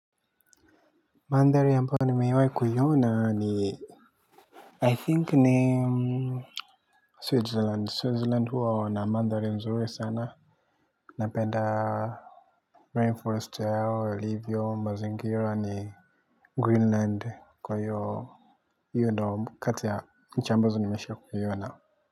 Manthari ambayo nimeiwai kuiona ni I think ni Switzerland. Switzerland huwa wana mandhari nzuri sana. Napenda Rainforest yao, ilivyo, mazingira ni Greenland kwa hiyoo hiyo ndiyo kati ya nchi ambazo nimesha kuiona.